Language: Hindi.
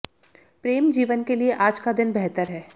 प्रेम जीवन के लिए आज का दिन बेहतर है